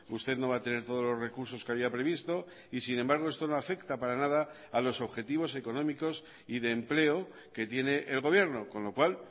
usted no va a tener todos los recursos que había previsto y sin embargo esto no afecta para nada a los objetivos económicos y de empleo que tiene el gobierno con lo cual